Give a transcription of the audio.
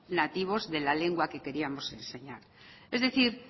nativos de la lengua que queríamos enseñar es decir